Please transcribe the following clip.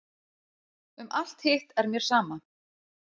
Um alt hitt er mér sama.